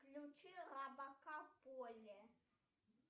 включи робокар полли